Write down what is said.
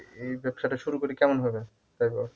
এই ব্যবসাটা শুরু করি কেমন হবে তাই বল?